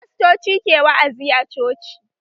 Fastoci ke wa'azi a coci